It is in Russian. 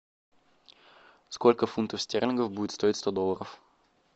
сколько фунтов стерлингов будет стоить сто долларов